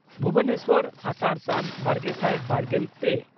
ᱵᱷᱩᱵᱚᱱᱮᱥᱚᱨ ᱟᱥᱟᱲᱼᱥᱟᱱ, ᱵᱟᱨᱜᱮᱥᱟᱭ ᱵᱟᱨᱜᱮᱞ ᱯᱮ